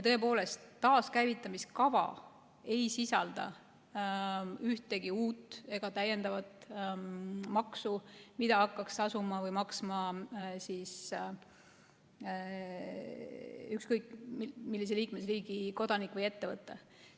Tõepoolest, taaskäivitamiskava ei sisalda ühtegi uut ega täiendavat maksu, mida hakkaks tasuma või maksma ükskõik millise liikmesriigi kodanik või ettevõte.